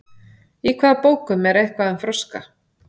í hvaða bókum er eitthvað um froska